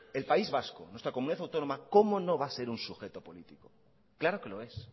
el país vasco nuestra comunidad autónoma cómo no va a ser un sujeto político claro que lo es